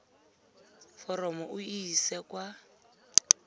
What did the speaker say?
foromo o e ise kwa